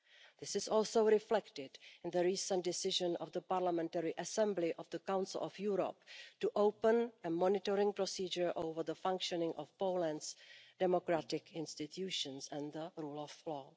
This is also reflected in the recent decision of the Parliamentary Assembly of the Council of Europe to open a monitoring procedure over the functioning of Poland's democratic institutions and the rule of law.